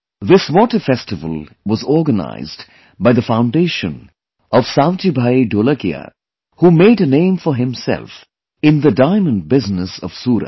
This water festival was organized by the foundation of SavjibhaiDholakia, who made a name for himself in the diamond business of Surat